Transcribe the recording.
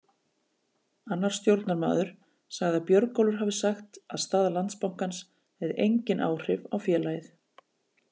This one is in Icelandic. Annar stjórnarmaður sagði að Björgólfur hafi sagt að staða Landsbankans hefði engin áhrif á félagið.